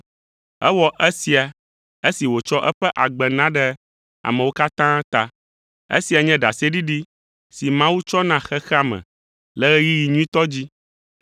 Ewɔ esia esi wòtsɔ eƒe agbe na ɖe amewo katã ta. Esia nye ɖaseɖiɖi si Mawu tsɔ na xexea me le ɣeyiɣi nyuitɔ dzi.